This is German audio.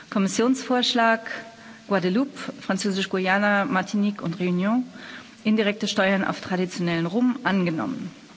Kommissionsvorschlag Guadeloupe, Französisch Guayana, Martinique und Réunion indirekte Steuern auf traditionellen Rum angenommen